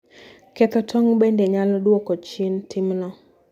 Ketho tong' bende nyalo dwoko chien timno.